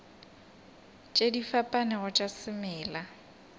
tše di fapanego tša semela